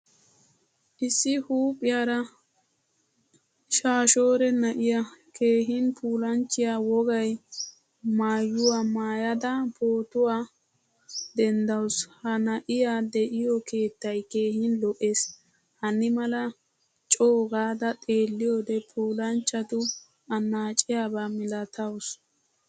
Issi huuphphiyaara shaashore na'iyaa keehin puulanchchiyaa wogaay maayuwaa maayada pootuwaa denddasu. Ha na'iyaa de'iyo keettay keehin lo'ees. Hanimala co gada xeelliyode puulanchchatu annacetiyaba milatawusu.